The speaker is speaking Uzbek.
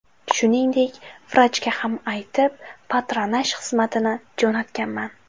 Shuningdek, vrachga ham aytib, patronaj xizmatini jo‘natganman.